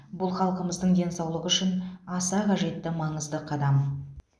бұл халқымыздың денсаулығы үшін аса қажетті маңызды қадам